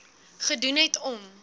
gedoen het om